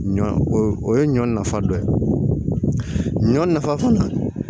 Ɲɔ o ye ɲɔ nafa dɔ ye ɲɔ nafa fana